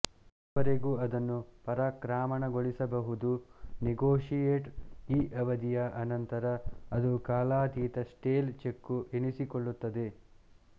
ಅದುವರೆಗೂ ಅದನ್ನು ಪರಾಕ್ರಾಮಣಗೊಳಿಸಬಹುದು ನೆಗೋಷಿಯೇಟ್ ಈ ಅವಧಿಯ ಅನಂತರ ಅದು ಕಾಲಾತೀತ ಸ್ಟೇಲ್ ಚೆಕ್ಕು ಎನಿಸಿಕೊಳ್ಳುತ್ತದೆ